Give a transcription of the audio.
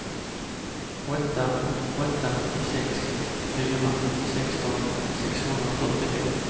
åtta åtta sex fyra sexton sexhundrafyrtiofem